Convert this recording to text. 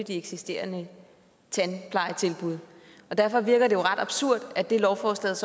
de eksisterende tandplejetilbud og derfor virker det jo ret absurd at det lovforslaget